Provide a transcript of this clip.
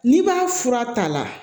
N'i b'a fura ta la